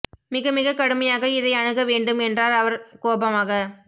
மிக மிக கடுமையாக இதை அணுக வேண்டும் என்றார் அவர் கோபமாக